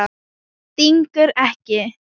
Stingur ekki.